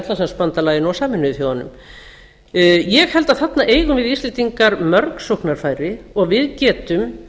og í atlantshafsbandalaginu og sameinuðu þjóðunum ég held að þarna eigum við íslendingar mörg sóknarfæri og við getum